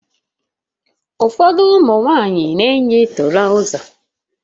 Ụfọdụ ụmụ nwanyị na-eyi turoza